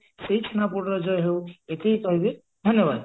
ସେଇ ଛେନାପୋଡର ଜୟ ହଉ ଏତିକି କହିବି ଧନ୍ୟବାଦ